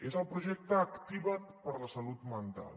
és el projecte activa’t per la salut mental